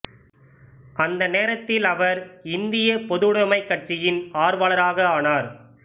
அந்த நேரத்தில் அவர் இந்திய பொதுவுடைமைக் கட்சியின் ஆர்வலராக ஆனார்